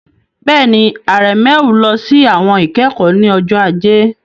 Bẹ́ẹ̀ni, Aremeu lọ sí àwọn ìkẹ́kọ̀ọ́ ní ọjọ́ Ajé.